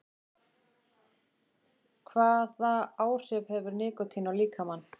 Hvaða áhrif hefur nikótín á líkamann?